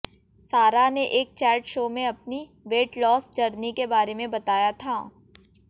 सारा ने एक चैट शो में अपनी वेट लॉस जर्नी के बारे में बताया था